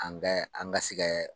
An bɛ an basi kɛɛɛɛ.